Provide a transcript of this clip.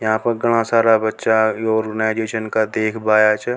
यहां पर घाना सारा बच्चा योग --